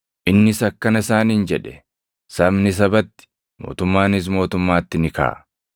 Innis akkana isaaniin jedhe; “Sabni sabatti, mootummaanis mootummaatti ni kaʼa.